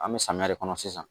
An bɛ samiya de kɔnɔ sisan